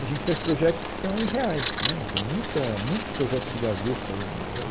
A gente faz projetos que são irreais né, e tem muita muito projeto de gaveta o é o